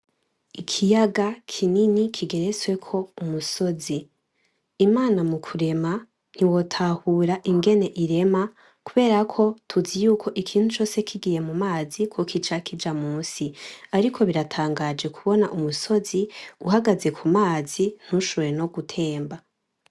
Ikiyaga kinini kigerezweko umusozi. Imana mukurema ntiwotahura ingene irema kuberako tuzi yuko ikintu cose kigiye mu mazi kokica kuja musi, ariko biratangaje kubona umusozi uhagaze kumazi ntushobore no gutemba.